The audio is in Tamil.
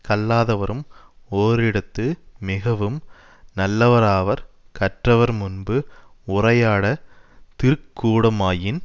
கல்லாதவரும் ஓரிடத்து மிகவும் நல்லவராவர் கற்றவர் முன்பு உரையாட திருக்கூடமாயின்